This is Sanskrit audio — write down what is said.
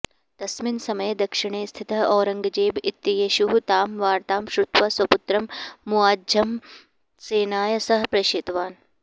तस्मिन् समये दक्षिणे स्थितः औरङ्गजेब इत्येषः तां वार्तां श्रुत्वा स्वपुत्रं मुआज्झमं सेनया सह प्रेषितवान्